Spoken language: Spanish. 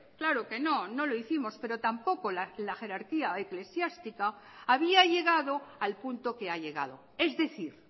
claro que no no lo hicimos pero tampoco la jerarquía eclesiástica había llegado al punto que ha llegado es decir